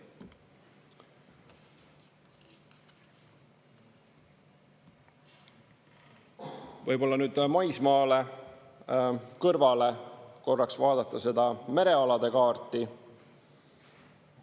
Võib-olla nüüd maismaale kõrvale korraks vaadata seda merealade kaarti.